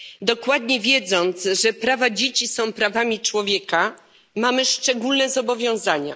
Dokładnie wiedząc, że prawa dzieci są prawami człowieka, mamy szczególne zobowiązania.